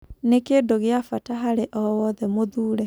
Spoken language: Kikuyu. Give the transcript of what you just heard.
Nĩ-kindũ gĩa bata harĩ o-wothe mũthure.